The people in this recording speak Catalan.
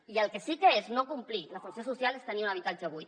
i el que sí que és no complir la funció social és tenir un habitatge buit